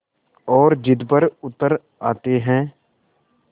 और ज़िद पर उतर आते हैं